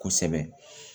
Kosɛbɛ